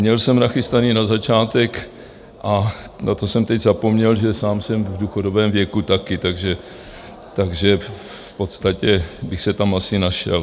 Měl jsem nachystaný na začátek, a na to jsem teď zapomněl, že sám jsem v důchodovém věku taky, takže v podstatě bych se tam asi našel.